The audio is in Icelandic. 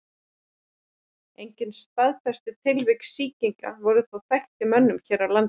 Engin staðfest tilvik sýkinga voru þó þekkt í mönnum hér á landi.